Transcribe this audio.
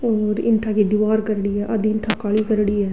ईटा री दीवाल खरेड़ी है आधी ईटा काली करेड़ी है